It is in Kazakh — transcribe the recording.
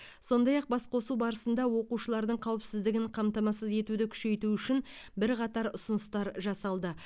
сондай ақ басқосу барысында оқушылардың қауіпсіздігін қамтамасыз етуді күшейту үшін бірқатар ұсыныстар жасалды